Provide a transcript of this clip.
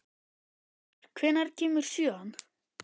Garðar, hvenær kemur sjöan?